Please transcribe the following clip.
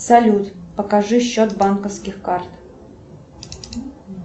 салют покажи счет банковских карт